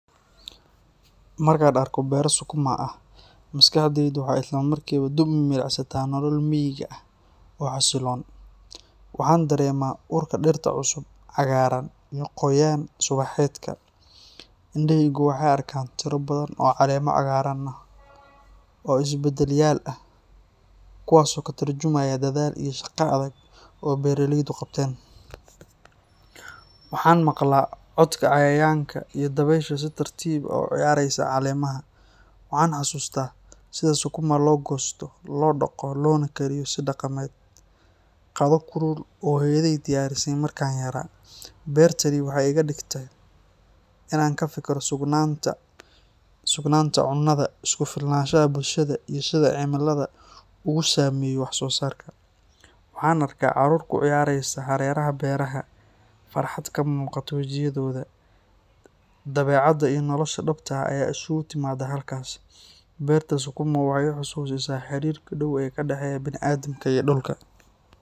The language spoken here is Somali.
Markaan arko beero Sukuma ah, maskaxdaydu waxay isla markiiba dib u milicsataa nolol miyiga ah oo xasiloon. Waxaan dareemaa urka dhirta cusub, cagaaran, iyo qoyaan subaxeedka. Indhahaygu waxay arkaan tiro badan oo caleemo cagaaran ah oo isdaba-yaal ah, kuwaas oo ka tarjumaya dadaal iyo shaqo adag oo beeraleydu qabteen. Waxaan maqlaa codka cayayaanka iyo dabaysha si tartiib ah u ciyaaraysa caleemaha. Waxaan xasuustaa sida Sukuma loo goosto, loo dhaqo, loona kariyo si dhaqameed — qado kulul oo hooyaday diyaarisay markaan yaraa. Beertani waxay iga dhigtaa inaan ka fikiro sugnaanta cunnada, isku-filnaanshaha bulshada, iyo sida cimiladu ugu saameyso wax-soosaarka. Waxaan arkaa carruur ku ciyaaraysa hareeraha beeraha, farxadna ka muuqato wejiyadooda. Dabeecadda iyo nolosha dhabta ah ayaa isugu timaadda halkaas, beerta Sukuma waxay i xasuusisaa xiriirka dhow ee ka dhexeeya bini'aadamka iyo dhulka.